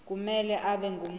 kumele abe ngumuntu